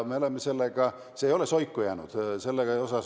See ei ole soiku jäänud.